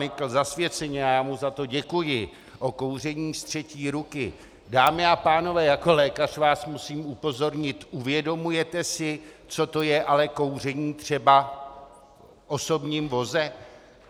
Nykl zasvěceně, a já mu za to děkuji, o kouření z třetí ruky, dámy a pánové, jako lékař vás musím upozornit - uvědomujete si, co to je ale kouření třeba v osobním voze?